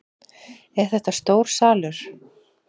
Er þetta stór salur?